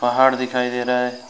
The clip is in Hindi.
पहाड़ दिखाई दे रहा है।